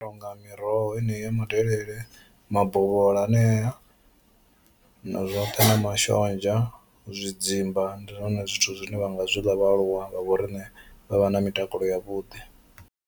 Zwi nonga miroho yeneyi ya madelele, mabovhola hanea na zwoṱhe na mashonzha, zwidzimba ndi zwone zwithu zwine vha nga zwi ḽa vhaaluwa vha vho riṋe vha vha na mitakalo ya vhuḓi.